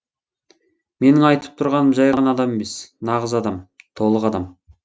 менің айтып тұрғаным жай ғана адам емес нағыз адам толық адам